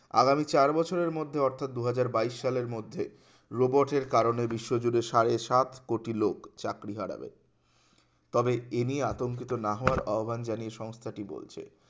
আগামী চার বছরের মধ্যে অর্থাৎ দুহাজার বাইশ সালের মধ্যে robot টের কারণে বিশ্বজুড়ে সাড়ে সাত কোটি লোক চাকরি হারাবে তবে এ নিয়ে আতঙ্কিত না হওয়ার আহ্বান জানিয়ে সংস্থাটি বলছে